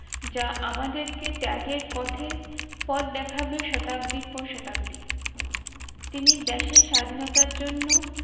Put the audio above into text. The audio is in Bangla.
যা আমাদেরকে ত্যাগের পথে পথ দেখাবে শতাব্দী পর শতাব্দী। তিনি দেশের স্বাধীনতার জন্য